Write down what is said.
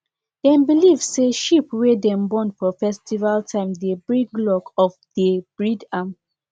dem believe say sheep wey dem born for festival time dey bring luck of dey breed am